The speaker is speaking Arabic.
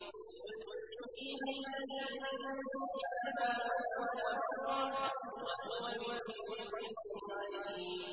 قُلْ يُحْيِيهَا الَّذِي أَنشَأَهَا أَوَّلَ مَرَّةٍ ۖ وَهُوَ بِكُلِّ خَلْقٍ عَلِيمٌ